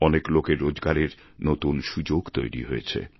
অনেক লোকের রোজগারের নতুন সুযোগ তৈরি হয়েছে